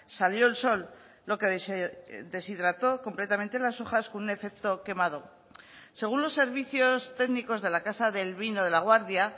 salió el sol lo que deshidrató completamente las hojas con un efecto quemado según los servicios técnicos de la casa del vino de laguardia